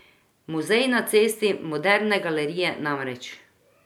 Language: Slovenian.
Muzej na cesti moderne galerije namreč.